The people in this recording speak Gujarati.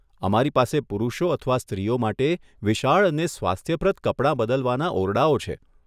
અમારી પાસે પુરુષો અથવા સ્ત્રીઓ માટે વિશાળ અને સ્વાસ્થ્યપ્રદ કપડાં બદલવાના ઓરડાઓ છે.